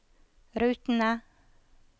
rutene